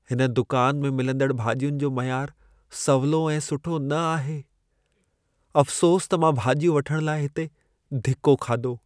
हिन दुकान में मिलंदड़ भाॼियुनि जो मयार सवलो ऐं सुठो न आहे। अफ़्सोस त मां भाॼियूं वठण लाइ हिते धिको खाधो।